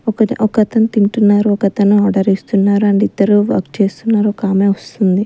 ఒకతను తింటున్నారు ఒకతను ఆర్డర్ ఇస్తున్నారు అండ్ ఇద్దరు వర్క్ చేస్తున్నారు ఒకామె వస్తుంది.